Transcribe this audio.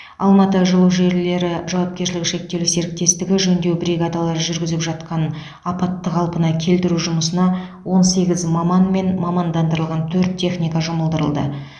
алматы жылу желілері жауапкершілігі шектеулі серіктестігі жөндеу бригадалары жүргізіп жатқан апатты қалпына келтіру жұмысына он сегіз маман мен мамандандырылған төрт техника жұмылдырылды